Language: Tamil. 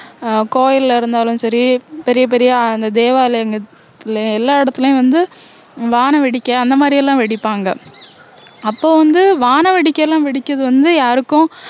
அஹ் கோயில்ல இருந்தாலும் சரி பெரிய பெரிய அந்த தேவாலயங்களிலும் எல்லா இடத்துலயும் வந்து வான வெடிக்கை அந்த மாதிரி எல்லாம் வெடிப்பாங்க அப்போ வந்து வான வெடிக்கை எல்லாம் வெடிக்கிறது வந்து யாருக்கும்